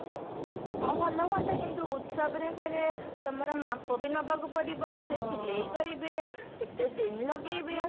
ହଁ ଭଲ ହୁଆନ୍ତା କିନ୍ତୁ ଉତ୍ସବ ରେ ଫେରେ ତମର ମାପ ବି ନବାକୁ ପଡିବ ସେ ସିଲେଇ କରିବେ କେତେ ଦିନ ଲଗେଇବେ